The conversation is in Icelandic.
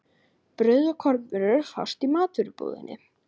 Brauð og kornvörur fást í matvörubúðinni.